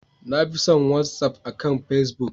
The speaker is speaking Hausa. Na fi son Whatsaf akan pacebook.